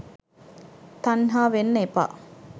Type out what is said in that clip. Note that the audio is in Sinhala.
තන්හාවෙන්න එපා.